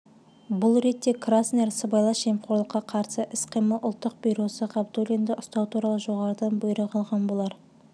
бұл ретте краснер сыбайлас жемқорлыққа қарсы іс-қимыл ұлттық бюросы ғабдуллинді ұстау туралы жоғарыдан бұйрық алған болар